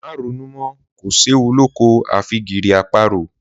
Má ronú mọ́!, kò séwu lóko àfi gìrì àparò!